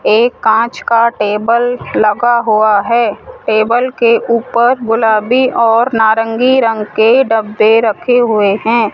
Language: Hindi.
एक कांच का टेबल लगा हुआ है टेबल के ऊपर गुलाबी और नारंगी रंग के डब्बे रखे हुए है।